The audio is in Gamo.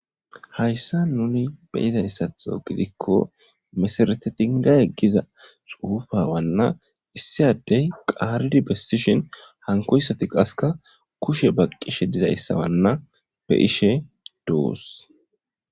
Hayssa nuni beyidayessatho gidikko mesarete dinga eggiza xuufawanna issiaddey qaaridi bessishin hankoyssati qaska kushe baqqishe dizayssawanna be ishe dous.